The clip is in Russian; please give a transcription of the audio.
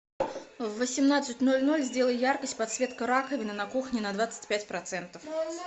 в восемнадцать ноль ноль сделай яркость подсветка раковины на кухне на двадцать пять процентов